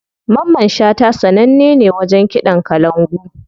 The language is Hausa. Mamman shata sananne ne wajen kiɗan kalangu.